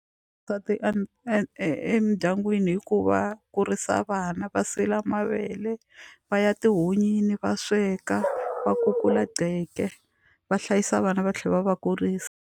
e e emindyangwini hi ku va kurisa vana va sila mavele va ya etihunyini va sweka va kukula va hlayisa vana va tlhela va va kurisa.